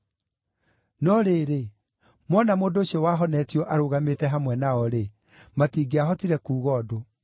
No rĩrĩ, mona mũndũ ũcio wahonetio arũgamĩte hamwe nao-rĩ, matingĩahotire kuuga ũndũ.